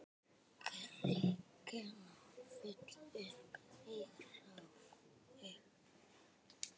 Kirkjan full upp í rjáfur.